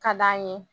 Ka d'an ye